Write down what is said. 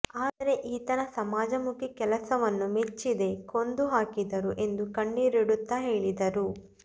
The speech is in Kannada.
ಆದರೆ ಈತನ ಸಮಾಜಮುಖಿ ಕೆಲಸವನ್ನು ಮೆಚ್ಚಿದೇ ಕೊಂದು ಹಾಕಿದರು ಎಂದು ಕಣ್ಣೀರುಡುತ್ತಾ ಹೇಳಿದರು